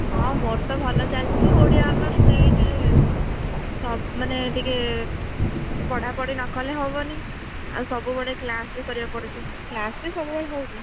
ହଁ ମୋର ତ ଭଲ ଚାଲିଛି ଆଉ ଓଡିଆ honours ନେଇଛି ଯେହେତୁ, ତ ମାନେ ଟିକେ, ପଢାପଢି ନକଲେ ହବନି, ଆଉ ସବୁବେଳେ class ବି କରିବାକୁ ପଡୁଛି class ବି ସବୁବେଳେ ହଉଛି।